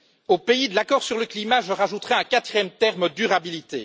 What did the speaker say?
Au pays de l'accord sur le climat, je rajouterai un quatrième terme, à savoir durabilité.